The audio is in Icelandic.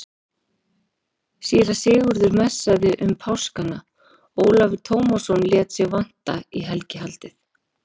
Síra Sigurður messaði um páskana, Ólafur Tómasson lét sig vanta í helgihaldið.